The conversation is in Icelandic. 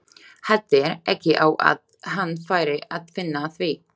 Hættir ekki á að hann fari að finna að því.